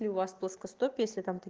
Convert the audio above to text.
у вас плоскостопие